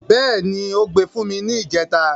Bẹ́ẹ̀ni, ó gbe fún mi ni ìjẹta.